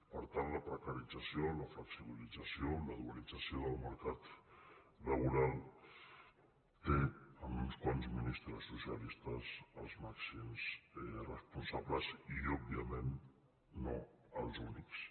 per tant la precarització la flexibilització la dualització del mercat laboral tenen en uns quants ministres socialistes els màxims responsables i òbviament no els únics